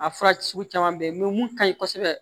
A fura sugu caman bɛ yen mun ka ɲi kosɛbɛ